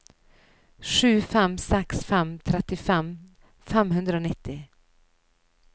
sju fem seks fem trettitre fem hundre og nitti